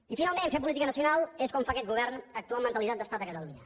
i finalment fer política nacional és com fa aquest govern actuar amb mentalitat d’estat a catalunya